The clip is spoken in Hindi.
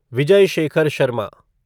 विजय शेखर शर्मा